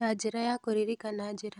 Ta njĩra ya kũririkana njĩra.